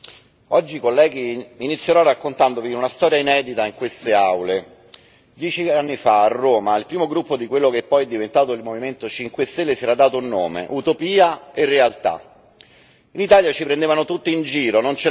Signor Presidente, onorevoli colleghi, oggi inizierò raccontandovi una storia inedita in queste aule. Dieci anni fa, a Roma, al primo gruppo di quello che poi è diventato il Movimento 5 Stelle si era dato un nome Utopia e realtà. In Italia ci prendevano tutti in giro, dicendo